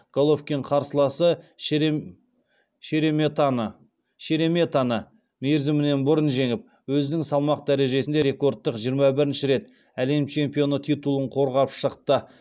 головкин қарсыласы шереметаны мерзімінен бұрын жеңіп өзінің салмақ дәрежесінде рекордтық жиырма бірінші рет әлем чемпионы титулын қорғап шықты